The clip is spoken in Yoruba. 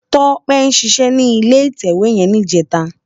Tope ṣiṣè ni ilé itèwé yèn nijètá